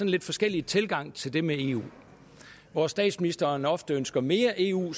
lidt forskellig tilgang til det med eu hvor statsministeren ofte ønsker mere eu